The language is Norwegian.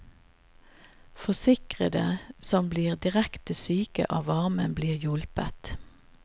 Forsikrede som blir direkte syke av varmen, blir hjulpet.